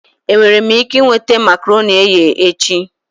Enwere m ike ị nweta makaronii eghe echi?